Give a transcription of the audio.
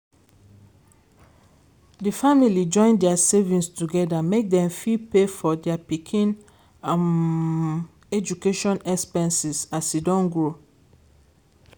di family join their savings together make dem fit pay for their pikin um education expenses as e don grow.